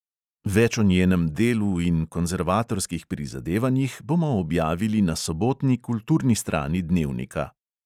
Več o njenem delu in konzervatorskih prizadevanjih bomo objavili na sobotni kulturni strani dnevnika.